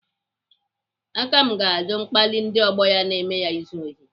Akam ga-ajụ mkpali ndị ọgbọ ya na-eme ya izu ohi.